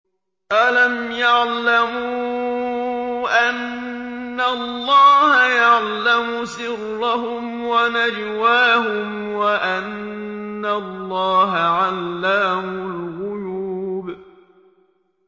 أَلَمْ يَعْلَمُوا أَنَّ اللَّهَ يَعْلَمُ سِرَّهُمْ وَنَجْوَاهُمْ وَأَنَّ اللَّهَ عَلَّامُ الْغُيُوبِ